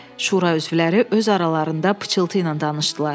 Şura üzvləri öz aralarında pıçıltı ilə danışdılar.